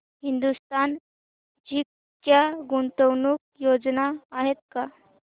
Hindustan Zinc च्या गुंतवणूक योजना आहेत का